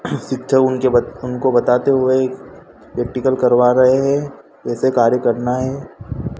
एक शिक्षक उनके बच बताते हुए प्रैक्टिकल करवा रहे हैं कैसे कार्य करना है।